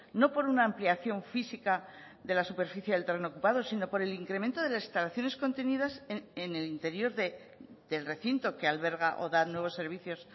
no por una ampliación física de la superficie del terreno ocupado sino por el incremento de las instalaciones contenidas en el interior del recinto que alberga o da nuevos servicios